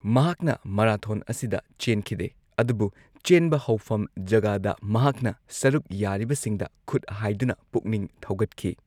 ꯃꯍꯥꯛꯅ ꯃꯔꯥꯊꯣꯟ ꯑꯁꯤꯗ ꯆꯦꯟꯈꯤꯗꯦ, ꯑꯗꯨꯕꯨ ꯆꯦꯟꯕ ꯍꯧꯐꯝ ꯖꯒꯥꯗ ꯃꯍꯥꯛꯅ ꯁꯔꯨꯛ ꯌꯥꯔꯤꯕꯁꯤꯡꯗ ꯈꯨꯠ ꯍꯥꯢꯗꯨꯅ ꯄꯨꯛꯅꯤꯡ ꯊꯧꯒꯠꯈꯤ꯫